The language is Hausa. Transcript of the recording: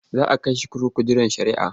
Za a kai shi kurkuku jiran shari'ah.